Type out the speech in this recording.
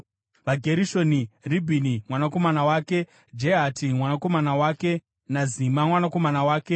VaGerishoni: Ribhini mwanakomana wake, Jehati mwanakomana wake naZima mwanakomana wake,